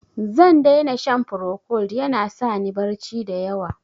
Zan dai na shan Procold, ya na sa ni barci da yawa.